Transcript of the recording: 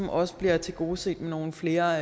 også bliver tilgodeset med nogle flere